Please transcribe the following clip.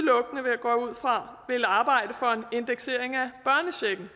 fra vil arbejde for en indeksering af